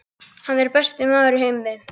Hann er besti maður í heimi.